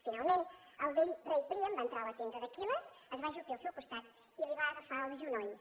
finalment el vell rei príam va entrar a la tenda d’aquil·les es va ajupir al seu costat i li va agafar els genolls